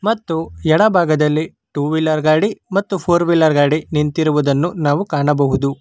ಮತ್ತು ಎಡ ಭಾಗದಲ್ಲಿ ಟೂ ವೀಲರ್ ಗಾಡಿ ಮತ್ತು ಫೋರ್ ವೀಲರ್ ಗಾಡಿ ನಿಂತಿರುವುದನ್ನು ನಾವು ಕಾಣಬಹುದು.